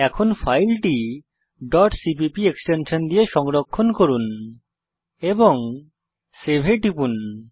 এখন ফাইলটি cpp extension দিয়ে সংরক্ষণ করুন এবং সেভ এ টিপুন